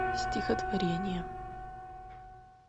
стихотворение